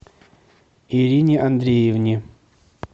ирине андреевне